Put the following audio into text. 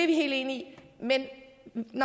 vi helt enige